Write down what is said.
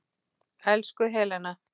Elsku Helena.